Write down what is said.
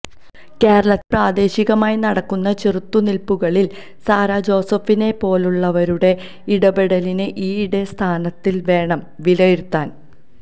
കേരളത്തിൽ പ്രാദേശികമായി നടക്കുന്ന ചെറുത്തുനിൽപുകളിൽ സാറാജോസഫിനെപ്പോലുള്ളവരുടെ ഇടപെടലിനെ ഈയടിസ്ഥാനത്തിൽ വേണം വിലയിരുത്താൻ